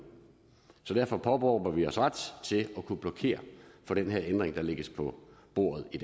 derfor påberåber vi os ret til at kunne blokere for den ændring der lægges på bordet i